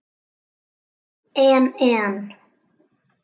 En en.